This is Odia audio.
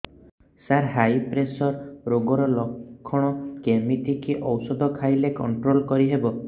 ସାର ହାଇ ପ୍ରେସର ରୋଗର ଲଖଣ କେମିତି କି ଓଷଧ ଖାଇଲେ କଂଟ୍ରୋଲ କରିହେବ